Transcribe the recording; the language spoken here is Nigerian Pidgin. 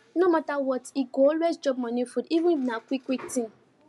no matter what e go always chop morning food even if na quick quick thing